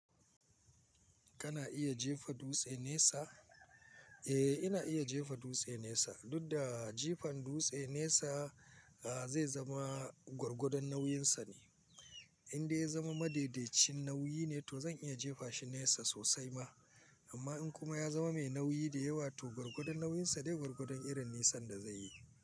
Kana iya jefa dutse nesa? Eh ina iya jefa dutse nesa, dudda jifan dutse nesa a zai zama gwargwadon nauyin sa ne. In dai ya zama madaidaicin nauyi ne, to zan iya jefa shi nesa sosai ma. Amma in kuma ya zama mai nauyi da yawa to gwargwadon nauyin sa ne gwargwadon irin nisan da za yi.